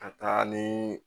Ka taa ni